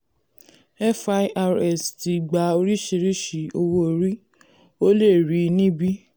firs ti gbà orísìírísìí owó orí; o lè rí i níbí.